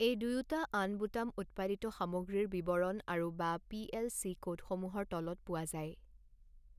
এই দুয়োটা আন বুটাম উৎপাদিত সামগ্ৰীৰ বিৱৰণ আৰু বা পি এল চি কোডসমূহৰ তলত পোৱা যায়।